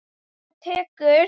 Það tekur